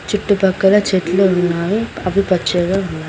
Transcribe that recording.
చుట్టుపక్కల చెట్లు ఉన్నాయి ఆకుపచ్చలు ఉన్నా --